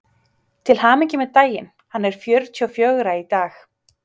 Til hamingju með daginn: hann er fjörutíu og fjögra í dag.